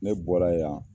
Ne bɔra yan